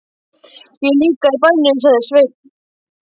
Ég er líka í bænum, sagði Sveinn.